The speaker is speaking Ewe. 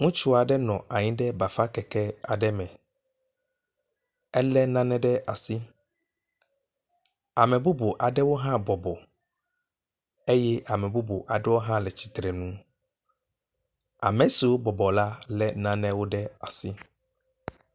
Ŋutsu aɖe nɔ anyi ɖe bafa keke aɖe me ele nane ɖe asi. Ame bubu aɖewo hã bɔbɔ eye ame bubu aɖewo hã le atsitrenu. Ame siwo bɔbɔ la le nanewo ɖe asi.